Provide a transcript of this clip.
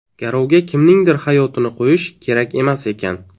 Garovga kimningdir hayotini qo‘yish kerak emas ekan.